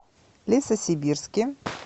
лесосибирске